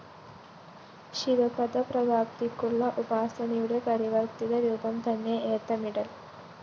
ശിവപദപ്രാപ്തിയ്ക്കുള്ള ഉപാസനയുടെ പരിവര്‍ത്തിതരൂപംതന്നെ ഏത്തമിടല്‍